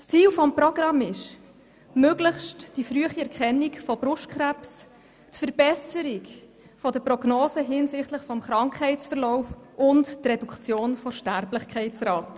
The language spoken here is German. Ziel des Programms ist die möglichst frühe Erkennung von Brustkrebs, die Verbesserung der Prognosen hinsichtlich des Krankheitsverlaufs und die Reduktion der Sterblichkeitsrate.